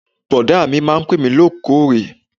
Bọ̀dá mi máa ń pè mí lóòkóòrè